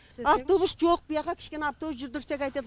автобус жоқ бұяқа кішкене автобус жүрдірсе қайтеді